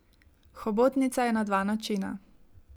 Hobotnica je na dva načina.